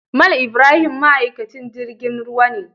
Mal Ibrahim ma'aikaci jirgin ruwa ne.